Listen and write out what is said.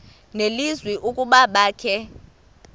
nelizwi ukuba abakhe